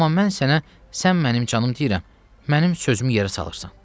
Amma mən sənə, sən mənim canım deyirəm, mənim sözümü yerə salırsan.